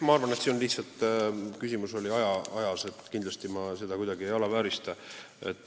Ma arvan, et küsimus oli lihtsalt ajas, kindlasti ma seda teemat kuidagi ei alaväärista.